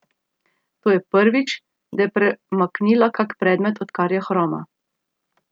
To je prvič, da je premaknila kak predmet, odkar je hroma.